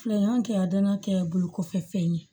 Filɛ an kɛ a danakɛ ye bolo kɔfɛ fɛn ye